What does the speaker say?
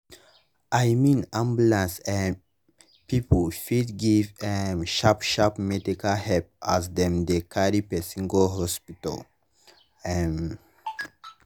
i mean ambulance um people fit give um sharp sharp medical help as dem dey carry person go hospital. um